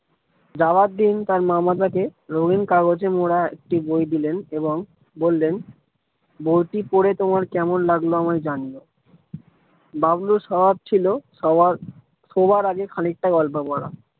যাওয়ার দিন তার মামা তাকে রঙিন কাগজে মোড়া একটি বই দিলেন এবং বললেন বইটি পড়ে তোমার কেমন লাগলো আমাকে জানিও। বাবলু স্বভাব ছিল শোবার আগেখানিকটা গল্প পড়া।